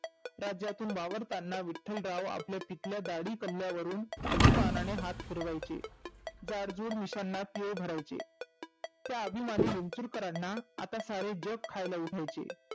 राज्यातून वावरतांना विठ्ठलराव आपल्या पिकल्या दाढी कल्ल्यावरुण अभिमानाने हाथ फिरवायचे. जाडजूड पिशांना पिळ भरायचे. त्या आभीमानी विंचुरकरांना आता सारे जग खायला उठायचे.